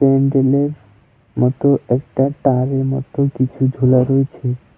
প্যান্ডেল এর মত একটা তার এর মত কিছু ঝুলা রয়েছে।